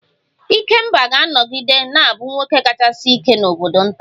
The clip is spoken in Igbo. Ikemba ga-anọgide na-abụ nwoke kachasị ike n'obodo nta